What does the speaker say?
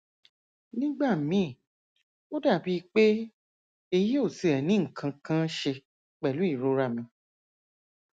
nígbà míì ó dàbíi pé èyí ò tiẹ ní nǹkan kan ṣe pẹlú ìrora mi